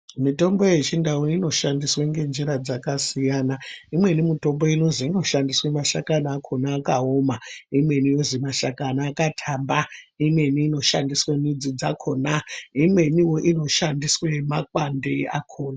Mitombo yechindau inoshandiswa nenzira dzakasiyana imweni mitombo inoshandiswa makashakani anenge akaoma imweni mashakani akatamba imweni inoshandiswa midzi dzakona imweni inoshandiswa makwande akona.